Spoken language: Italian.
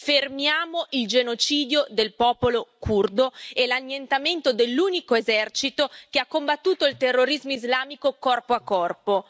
Fermiamo il genocidio del popolo curdo e l'annientamento dell'unico esercito che ha combattuto il terrorismo islamico, corpo a corpo.